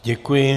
Děkuji.